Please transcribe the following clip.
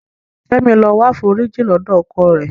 Kẹ́mi lọ wáforíjì lọ́dọ̀ ọkọ rẹ̀.